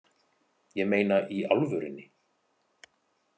Ég meina í alvörunni